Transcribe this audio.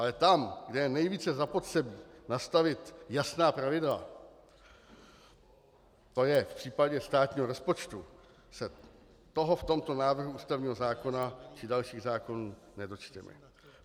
Ale tam, kde je nejvíce zapotřebí nastavit jasná pravidla, to je v případě státního rozpočtu, se toho v tomto návrhu ústavního zákona či dalších zákonů nedočteme.